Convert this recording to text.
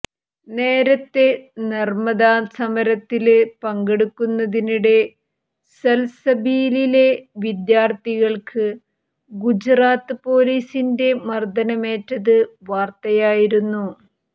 നേരത്തെ നര്മ്മദാ സമരത്തില് പങ്കെടുക്കുന്നതിനിടെ സല്സബീലിലെ വിദ്യാര്ത്ഥികള്ക്ക് ഗുജറാത്ത് പൊലീസിന്റെ മര്ദ്ദനമേറ്റത് വാര്ത്തയായിരുന്നു